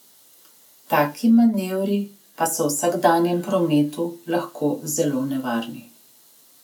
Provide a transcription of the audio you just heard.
Taki manevri pa so v vsakdanjem prometu lahko zelo nevarni.